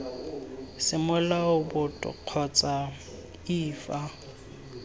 semolao boto kgotsa iii fa